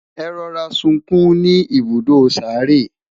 e rọra sunkún ní ibùdó sáré